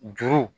Juru